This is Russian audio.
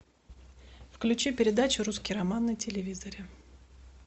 включи передачу русский роман на телевизоре